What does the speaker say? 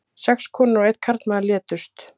Sex konur og einn karlmaður létust